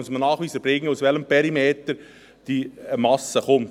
Man muss einen Nachweis erbringen, aus welchem Perimeter die Biomasse kommt.